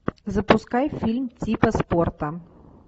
запускай фильм типа спорта